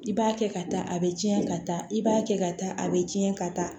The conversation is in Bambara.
I b'a kɛ ka taa a bɛ cɛn ka taa i b'a kɛ ka taa a bɛ cɛn ka taa